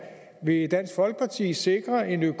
vil dansk folkeparti sikre en